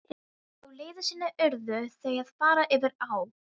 Á leið sinni urðu þau að fara yfir á.